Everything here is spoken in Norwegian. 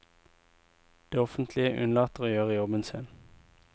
Det offentlige unnlater å gjøre jobben sin.